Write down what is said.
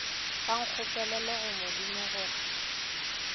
ba nkgopelele go modimo gore